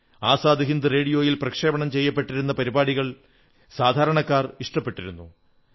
ആസാദ് ഹിന്ദ് റേഡിയോയിൽ പ്രക്ഷേപണം ചെയ്തിരുന്ന പരിപാടികൾ സാധാരണക്കാർക്ക് ഇഷ്ടപ്പെട്ടിരുന്നു